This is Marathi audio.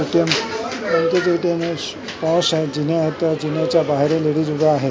पाऊस आहे जिने आहेत जिन्याच्या बाहेर लेडीज उभ्या आहेत.